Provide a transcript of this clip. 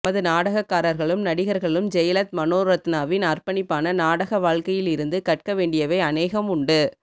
நமது நாடகக் காரகளும் நடிகர்களும் ஜெயலத் மனோரத்னாவின் அர்ப்பணிப்பான நாடக வாழ்க்கையிலிருந்து கற்க வேண்டியவை அனேகம் உண்டு